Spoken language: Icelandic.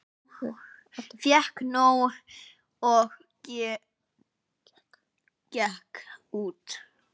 Fékk nóg og gekk út